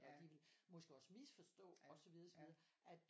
Og de ville måske også misforstå og så videre og så videre at